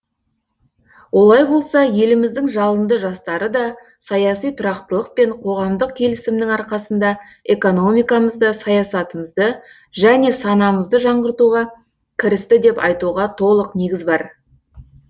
олай болса еліміздің жалынды жастары да саяси тұрақтылық пен қоғамдық келісімнің арқасында экономикамызды саясатымызды және санамызды жаңғыртуға кірісті деп айтуға толық негіз бар